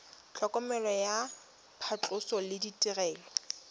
tlhokomelo ya phatlhoso le ditirelo